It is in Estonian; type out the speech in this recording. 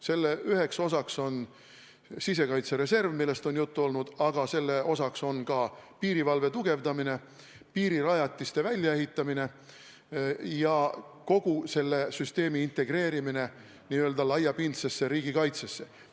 Selle üks osa on sisekaitsereserv, millest on juttu olnud, aga selle osa on ka piirivalve tugevdamine, piirirajatiste väljaehitamine ja kogu süsteemi integreerimine n-ö laiapindsesse riigikaitsesse.